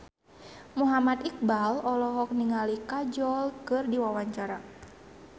Muhammad Iqbal olohok ningali Kajol keur diwawancara